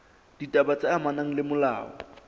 ditaba tse amanang le molao